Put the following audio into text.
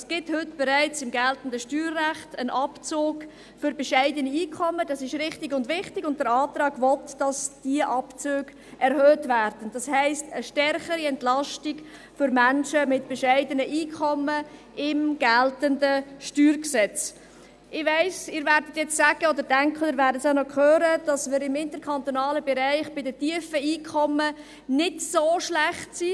Es gibt im geltenden Steuerrecht bereits heute einen Abzug für bescheidene Einkommen, das ist richtig und wichtig, und der Antrag will, dass diese Abzüge erhöht werden, das heisst eine stärkere Entlastung für Menschen mit bescheidenem Einkommen im geltenden StG. Ich weiss, Sie werden jetzt sagen oder denken – das werden wir ja noch hören –, dass wir im interkantonalen Vergleich bei den tiefen Einkommen nicht so schlecht sind.